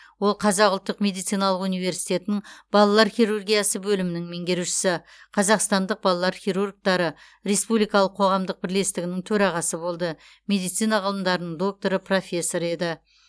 ол қазақ ұлттық медициналық университетінің балалар хирургиясы бөлімінің меңгерушісі қазақстандық балалар хирургтері республикалық қоғамдық бірлестігінің төрағасы болды медицина ғылымдарының докторы профессор еді